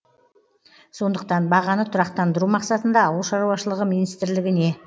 сондықтан бағаны тұрақтандыру мақсатында ауыл шаруашылығы министрілігіне